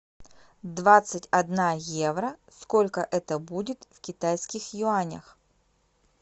двадцать одна евро сколько это будет в китайских юанях